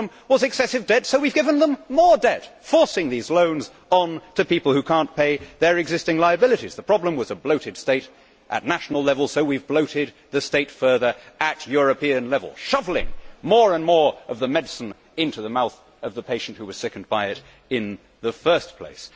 The problem was excessive debt, so we have given them more debt forcing these loans on to people who cannot pay their existing liabilities. The problem was a bloated state at national level, so we have bloated the state further at European level, shovelling more and more of the medicine into the mouth of the patient who was sickened by it in the first place.